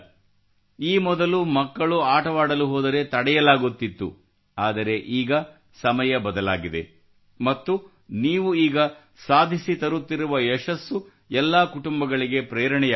ಈ ಮೊದಲು ಮಕ್ಕಳು ಆಟವಾಡಲು ಹೋದರೆ ತಡೆಯಲಾಗುತ್ತಿತ್ತು ಆದರೆ ಈಗ ಸಮಯ ಬದಲಾಗಿದೆ ಮತ್ತು ನೀವುಗಳು ಈಗ ಸಾಧಿಸಿ ತರುತ್ತಿರುವ ಯಶಸ್ಸು ಎಲ್ಲಾ ಕುಟುಂಬಗಳಿಗೆ ಪ್ರೇರಣೆಯಾಗುತ್ತಿದೆ